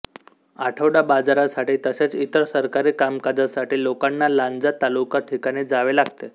आठवडा बाजारासाठी तसेच इतर सरकारी कामकाजासाठी लोकांना लांजा तालुका ठिकाणी जावे लागते